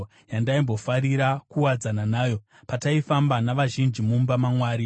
yandaimbofarira kuwadzana nayo pataifamba navazhinji mumba maMwari.